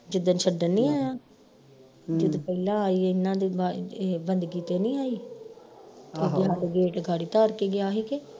ਜਿੱਦਣ ਛੱਡਣ ਨੀ ਆਇਆ ਜਦੋਂ ਪਹਿਲਾਂ ਆਈ ਇਨ੍ਹਾਂ ਦੀ ਇਹ ਬੰਦਗੀ ਤੇ ਨੀ ਆਈ ਤੇ ਹਾਡੇ gate ਦੇ ਗਾੜੀ ਤਾਰ ਕੇ ਗਿਆ ਹੀ ਕੇ